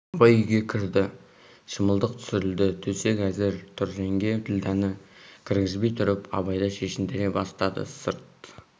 абай үйге кірді шымылдық түсірілді төсек әзір тұр жеңге ділдәні кіргізбей тұрып абайды шешіндіре бастады сырт